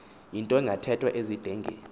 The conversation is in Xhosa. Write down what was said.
yinto engathethwa ezidengeni